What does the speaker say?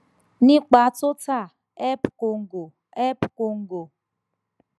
nípa total ep congo ep congo